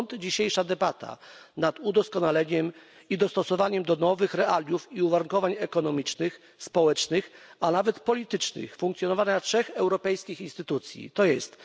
Stąd dzisiejsza debata nad udoskonaleniem i dostosowaniem do nowych realiów i uwarunkowań ekonomicznych, społecznych, a nawet politycznych funkcjonowania trzech europejskich instytucji, tj.